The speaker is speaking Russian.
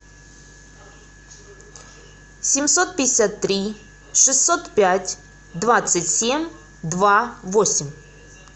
семьсот пятьдесят три шестьсот пять двадцать семь два восемь